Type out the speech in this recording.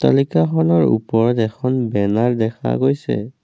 লিকা খনৰ ওপৰত এখন বেনাৰ দেখা গৈছে।